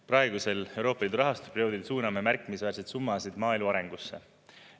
Praegusel Euroopa Liidu rahastusperioodil suuname märkimisväärseid summasid maaelu arengusse.